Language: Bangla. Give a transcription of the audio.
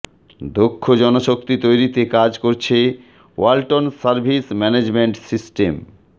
দক্ষ জনশক্তি তৈরিতে কাজ করছে ওয়ালটন সার্ভিস ম্যানেজমেন্ট সিস্টেম